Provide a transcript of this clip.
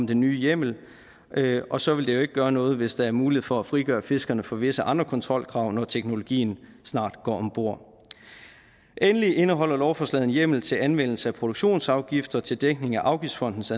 den nye hjemmel og så vil det jo ikke gøre noget hvis der er mulighed for at fritage fiskerne for visse andre kontrolkrav når teknologien snart går om bord endelig indeholder lovforslaget en hjemmel til anvendelse af produktionsafgifter til dækning af afgiftfondens